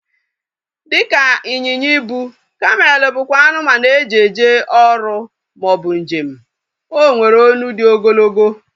Dịka ịnyịnya ibu, kamel bụkwa anụmanụ e ji eje ọrụ maọbụ njem. O nwere olu dị ogologo